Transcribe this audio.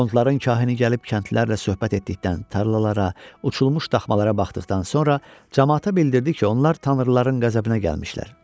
Qondların kahini gəlib kəndlilərlə söhbət etdikdən, tarlalara, uçulmuş daxmalara baxdıqdan sonra camaata bildirdi ki, onlar tanrıların qəzəbinə gəlmişlər.